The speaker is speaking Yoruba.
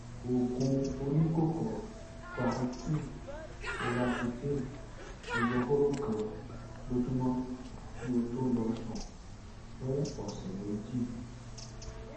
oògùn oníkóró claritine loratidine ẹyọ hóró kan lójúmọ kí o tó lọ sùn fún ọsẹ méjì um